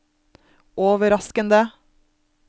overraskende